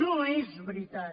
no és veritat